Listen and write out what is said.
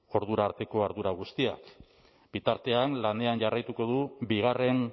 ordura arteko ardura guztiak bitartean lanean jarraituko du bigarren